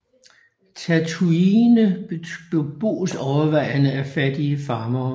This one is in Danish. Tatooine beboes overvejende af fattige farmere